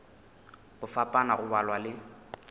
go fapana go balwa le